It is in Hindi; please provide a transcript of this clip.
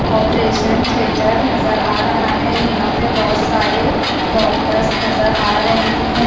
ऑपरेशन थिएटर नजर आ रहा है यहां पे बहुत सारे डॉक्टर्स नजर आ रहे हैं।